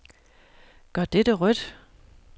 Gør dette rødt.